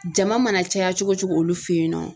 Jama mana caya cogo cogo olu fɛ yennɔ.